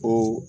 Ko